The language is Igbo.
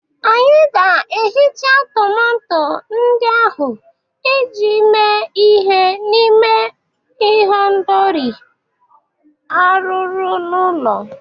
Anyị ga-ehicha tomato ndị ahụ iji mee ihe n'ime ihendori arụrụ n'ụlọ